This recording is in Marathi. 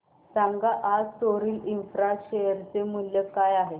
सांगा आज सोरिल इंफ्रा शेअर चे मूल्य काय आहे